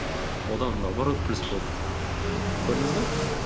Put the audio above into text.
одан наоборот плюс болды көрдіңіз бе